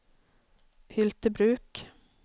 Hyltebruk